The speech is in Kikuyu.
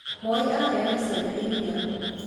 Moi aheaga ciana iria